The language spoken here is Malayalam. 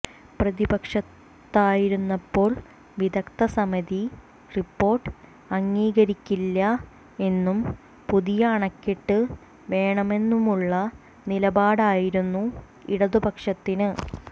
പ്രതിപക്ഷത്തായിരുന്നപ്പോൾ വിദഗ്ധസമിതി റിപ്പോർട്ട് അംഗീകരിക്കില്ല എന്നും പുതിയ അണക്കെട്ടു വേണമെന്നുമുള്ള നിലപാടായിരുന്നു ഇടതുപക്ഷത്തിന്